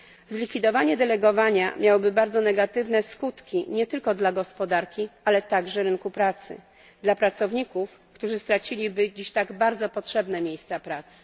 Zlikwidowanie delegowania miałoby bardzo negatywne skutki nie tylko dla gospodarki, ale także dla rynku pracy, dla pracowników, którzy straciliby dziś tak bardzo potrzebne miejsca pracy.